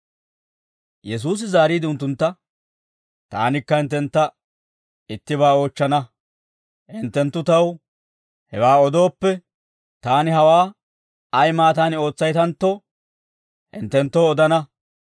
Yesuusi zaariide unttuntta, «Taanikka hinttentta ittibaa oochchana; hinttenttu taw hewaa odooppe, taani hawaa ay maattaani ootsaytantto, hinttenttoo odana;